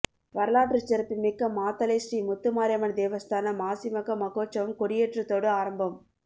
வரலாற்றுச் சிறப்புமிக்க மாத்தளை ஸ்ரீ முத்துமாரியம்மன் தேவஸ்தான மாசிமக மகோற்சவம் கொடியேற்றத்தோடு ஆரம்பம்